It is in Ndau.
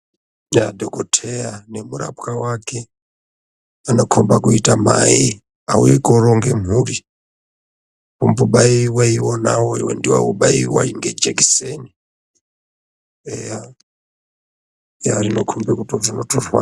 Yaah! dhokodheya nemurapwa wake anokomba kuite mai auye koronge mhuri , vombobaiwa ivona ngejekiseni eya rinokombe kuti rinotorwadzwa.